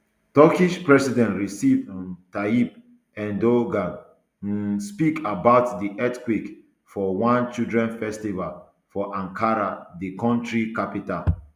turkish president recep um tayyip erdogan um speak about di earthquake for one children festival for ankara di kontri capital